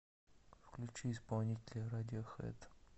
включи исполнителя радиохэд